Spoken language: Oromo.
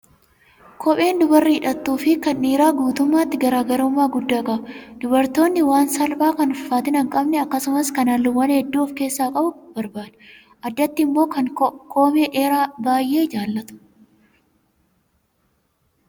Kopheen dubarri hidhattuu fi kan dhiiraa guutummaatti garaagarummaa guddaa qaba. Dubartoonni waan salphaa kan ulfaatina hin qabne akkasumas kan halluuwwan hedduu of keessaa qabu barbaadu. Addatti immoo kan koomee dheeraa baay'ee jaallatu.